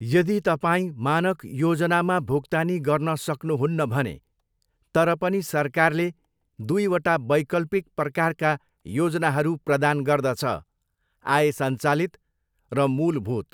यदि तपाईँ मानक योजनामा भुक्तानी गर्न सक्नुहुन्न भने, तर पनि सरकारले दुईवटा वैकल्पिक प्रकारका योजनाहरू प्रदान गर्दछ, आय सञ्चालित र मूलभूत।